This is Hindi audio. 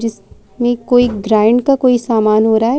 जिसमें कोई ग्राउंड का कोई सामान हो रहा है।